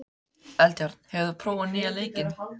Eldjárn, hefur þú prófað nýja leikinn?